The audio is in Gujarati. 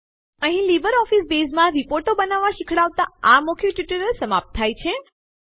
અહીં લીબરઓફીસ બેઝમાં રીપોર્ટો બનાવતા શીખવાડતાં આ મૌખિક ટ્યુટોરીયલ સમાપ્ત થાય છે